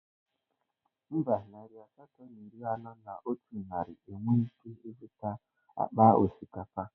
Mba, narị asatọ na iri anọ na otu naira enweghị ike ịzụta akpa osikapa